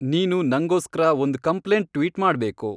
ನೀನು ನಂಗೋಸ್ಕ್ರ ಒಂದ್ ಕಂಪ್ಲೇಂಟ್ ಟ್ವೀಟ್ ಮಾಡ್ಬೇಕು